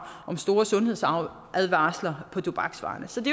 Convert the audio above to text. om store sundhedsadvarsler på tobaksvarerne så det